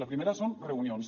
la primera són reunions